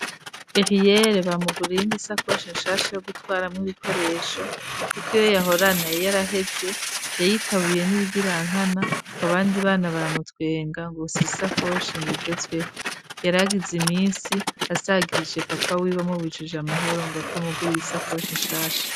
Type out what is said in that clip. Eriere bamuguriye iyindi sakoshi shasha yo gutwaramwo ibikoresho kuko iyo yahorana yari yaraheze yayitabuye n'ibigirankana ngo abandi bana baramutwenga ngo si sakoshi igezweho yaragize iminsi asagirije papa wiwe amubujije amahoro ngo atamuguriye isakoshi shasha.